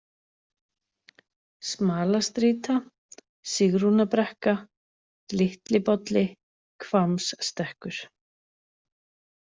Smalastrýta, Sigrúnarbrekka, Litlibolli, Hvammsstekkur